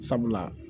Sabula